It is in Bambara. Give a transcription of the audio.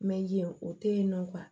Mɛ o tɛ yen nɔ